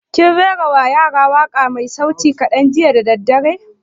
Kin rera wa yaran waƙa mai sauti kaɗan jiya da daddare?